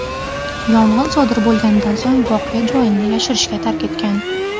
yong‘in sodir bo‘lganidan so‘ng voqea joyini yashirincha tark etgan.